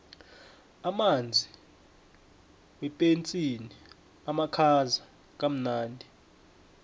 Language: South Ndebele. amanzi wepetsini amakhaza kamnandi